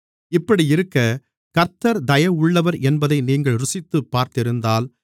இப்படியிருக்க கர்த்தர் தயவுள்ளவர் என்பதை நீங்கள் ருசித்துப் பார்த்திருந்தால்